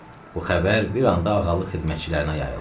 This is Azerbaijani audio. Bu xəbər bir anda ağalıq xidmətçilərinə yayıldı.